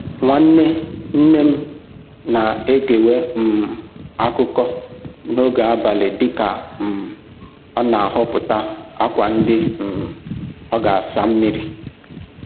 Nwanne nne m na-egewe um akụkọ n'oge abalị dịka um ọ na-ahọpụta akwa ndị um ọ ga-asa mmiri